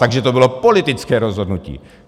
Takže to bylo politické rozhodnutí!